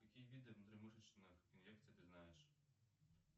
какие виды внутримышечных инъекций ты знаешь